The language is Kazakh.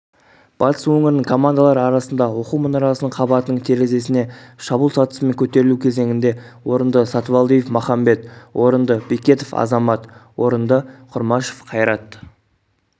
батыс өңірінің командалары арасында оқу мұнарасының қабатының терезесіне шабуыл сатысымен көтерілу кезеңінде орынды сатыбалдиев махамбет орынды бекетов азамат орынды құрмашев қайрат